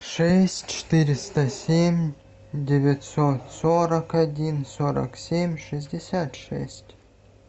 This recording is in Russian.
шесть четыреста семь девятьсот сорок один сорок семь шестьдесят шесть